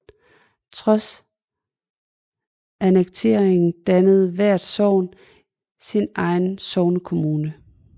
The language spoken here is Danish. Trods annekteringen dannede hvert sogn sin egen sognekommune